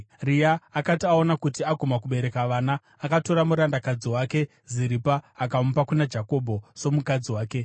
Rea akati aona kuti aguma kubereka vana, akatora murandakadzi wake Ziripa akamupa kuna Jakobho somukadzi wake.